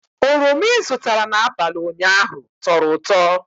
Oroma i zụtara n'abalị ụnyaahụ tọrọ ụtọ